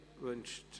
: Wünscht